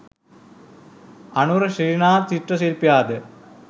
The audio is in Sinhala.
අනුර ශ්‍රීනාත් චිත්‍ර ශිල්පියාද